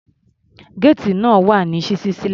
Géètì náà wà ní ṣíṣí sílẹ̀.